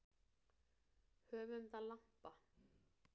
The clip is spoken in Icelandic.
Höfum það lampa.